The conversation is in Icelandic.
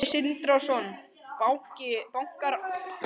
Sindri Sindrason: Bankarán?